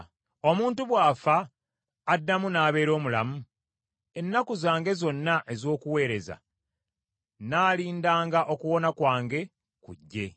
Omuntu bw’afa, addamu n’abeera omulamu? Ennaku zange zonna ez’okuweereza nnaalindanga okuwona kwange kujje.